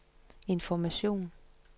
information